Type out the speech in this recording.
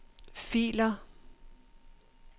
filer